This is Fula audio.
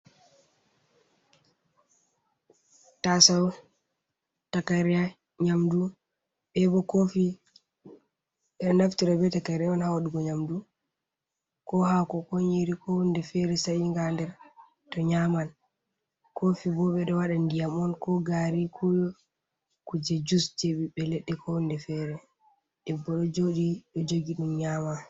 Taasawo, takayre nyaamdu bee boo koofi. Ɓe naftira bee takayre on haa waɗugo nyaamdu koo haako koo nyiiri ko huunde feere sa'iinga haa nder to nyaaman. Koofi boo ɓe ɓo waɗa ndiyam on koo gaari koo kuuje jus jey ɓiɓɓe leɗɗe koo huunde feere. Debbo ɗo joodi ɗo jogi ɗum nyaama.